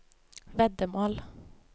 veddemål